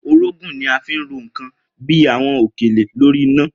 Orógùn ni a fi ń ro nǹkan bí i àwo̩n òkèlè lórí iná